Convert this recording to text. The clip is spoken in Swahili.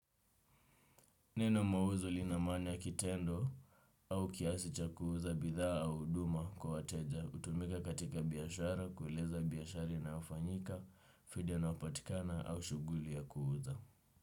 Neno mauzu lina maana ya kitendo au kiasi cha kuuza bidhaa au huduma kwa wateja. Hutumika katika biashara kueleza biashara inayofanyika, faida inayopatikana au shughuli ya kuuza.